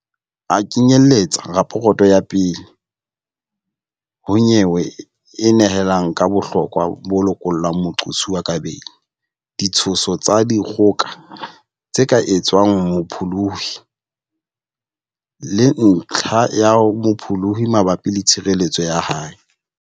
A knye-lletsa raporoto ya pele ho nyewe e nehelang ka bohlokwa ba ho lokolla moqosuwa ka beili, ditsho-so tsa dikgoka tse ka etswang ho mopholohi, le ntlha ya mopholohi mabapi le tshireletseho ya hae.